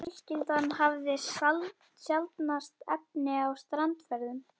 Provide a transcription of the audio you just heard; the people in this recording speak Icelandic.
Fjölskyldan hafði sjaldnast efni á strandferðum.